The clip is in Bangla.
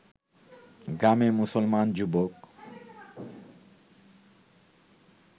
গ্রামের মুসলমান যুবক